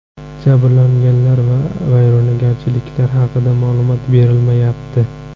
Jabrlanganlar va vayronagarchiliklar haqida ma’lumot berilmayapti.